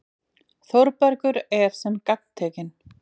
Þórbergur er sem gagntekinn.